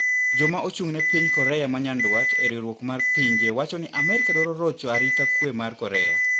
Jokma ochung`ne piny Korea manyandwat e riwruok mar pinje wacho ni Amerika dwaro rocho arita kwe mar Korea.